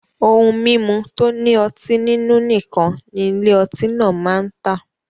Ohun mimu to ni oti ninu nikan ni Ile oti naa maa n ta